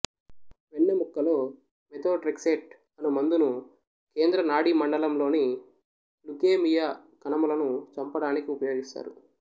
వెన్నెముక్కలో methotrexate అను మందును కేంద్ర నాడీమండలంలోని లుకేమియా కణములను చంపడానికి ఉపయోగిస్తారు